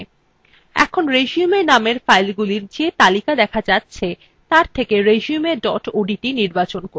এখন resume নামের ফাইলগুলির যে তালিকা দেখা যাচ্ছে তার থেকে resume dot odt নির্বাচন করুন